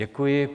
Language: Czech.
Děkuji.